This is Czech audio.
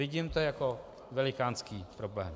Vidím to jako velikánský problém.